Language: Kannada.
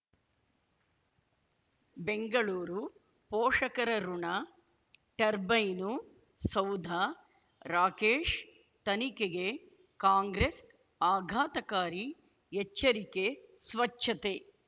ಬೆಂಗಳೂರು ಪೋಷಕರಋಣ ಟರ್ಬೈನು ಸೌಧ ರಾಕೇಶ್ ತನಿಖೆಗೆ ಕಾಂಗ್ರೆಸ್ ಆಘಾತಕಾರಿ ಎಚ್ಚರಿಕೆ ಸ್ವಚ್ಛತೆ